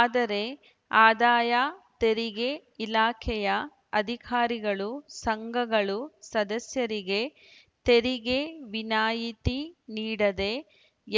ಆದರೆ ಆದಾಯ ತೆರಿಗೆ ಇಲಾಖೆಯ ಅಧಿಕಾರಿಗಳು ಸಂಘಗಳು ಸದಸ್ಯರಿಗೆ ತೆರಿಗೆ ವಿನಾಯಿತಿ ನೀಡದೆ